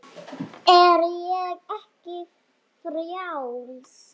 Er ég ekki frjáls?